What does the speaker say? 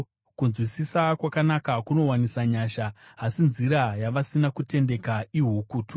Kunzwisisa kwakanaka kunowanisa nyasha, asi nzira yavasina kutendeka ihukutu.